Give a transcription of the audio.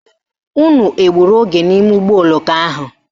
Unu egburu oge n'ime ụgbọoloko ahụ?